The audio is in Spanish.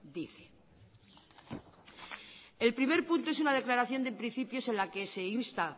dice el primer punto es una declaración de principios en la que se insta